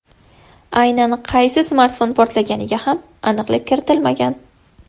Aynan qaysi smartfon portlaganiga ham aniqlik kiritilmagan.